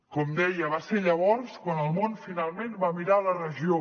com deia va ser llavors quan el món finalment va mirar la regió